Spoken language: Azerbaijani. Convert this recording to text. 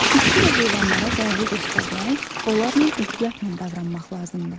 Bitki və heyvanlara qayğı göstərmək, onlarla ehtiyatla davranmaq lazımdır.